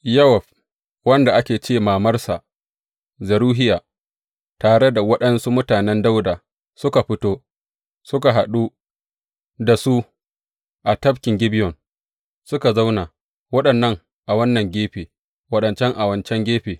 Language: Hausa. Yowab wanda ake ce mamarsa Zeruhiya tare da waɗansu mutanen Dawuda suka fito suka haɗu da su tafkin Gibeyon, Suka zauna, waɗannan a wannan gefe, waɗancan a wancan gefe.